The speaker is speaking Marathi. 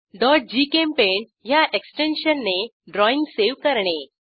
gchempaint ह्या एक्सटेन्शनने ड्रॉईंग सेव्ह करणे